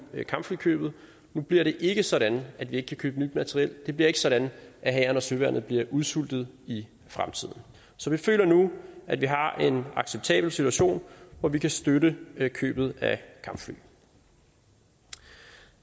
kampflykøbet nu bliver det ikke sådan at vi ikke kan købe nyt materiel det bliver ikke sådan at hæren og søværnet bliver udsultet i fremtiden så vi føler nu at vi har en acceptabel situation hvor vi kan støtte købet af kampfly